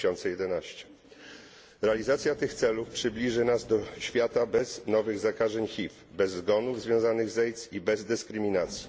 2011. Realizacja tych celów przybliży nas do świata bez nowych zakażeń HIV, bez zgonów związanych z AIDS i bez dyskryminacji.